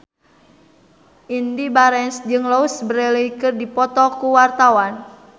Indy Barens jeung Louise Brealey keur dipoto ku wartawan